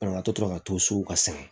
Banabaatɔ tora ka to so ka san